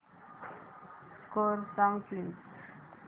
score सांग please